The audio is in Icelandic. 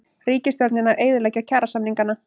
Ríkisstjórnin að eyðileggja kjarasamningana